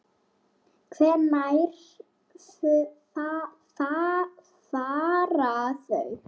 Hvenær fara þau?